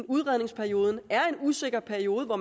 udredningsperioden er en usikker periode hvor